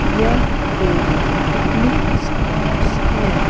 यह एक picnic spots है।